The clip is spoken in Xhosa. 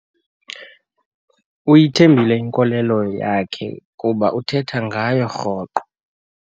Uyithembile inkolelo yakhe kuba uthetha ngayo rhoqo.